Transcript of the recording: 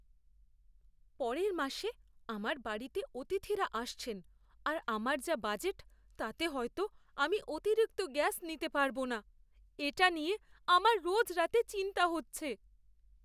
পরের মাসে আমার বাড়িতে অতিথিরা আসছেন আর আমার যা বাজেট তাতে হয়তো আমি অতিরিক্ত গ্যাস নিতে পারব না। এটা নিয়ে আমার রোজ রাতে চিন্তা হচ্ছে।